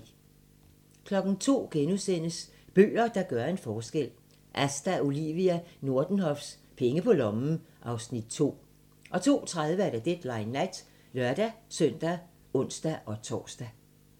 02:00: Bøger, der gør en forskel - Asta Olivia Nordenhofs "Penge på lommen" (Afs. 2)* 02:30: Deadline Nat (lør-søn og ons-tor)